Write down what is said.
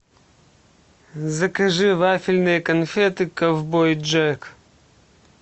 закажи вафельные конфеты ковбой джек